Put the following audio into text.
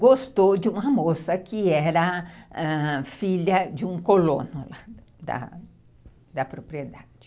gostou de uma moça que era filha de um colono da da propriedade.